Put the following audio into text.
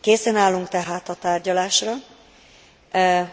Készen állunk tehát a tárgyalásra,